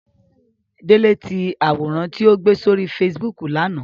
Dèlétì àwòrán tí ó gbé sórí Facebook l'ánà!